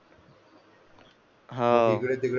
हा